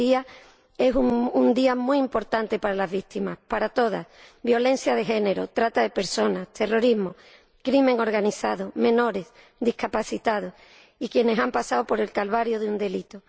Hoy es un día muy importante para las víctimas, para todas, violencia de género, trata de personas, terrorismo, crimen organizado, menores, discapacitados, y quienes han pasado por el calvario de un delito.